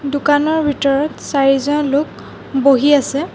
দোকানৰ ভিতৰত চাৰিজন লোক বহি আছে।